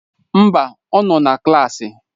Mba, ọ nọ na klaasị.